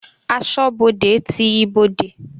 Asọ́bodè ti ibodè.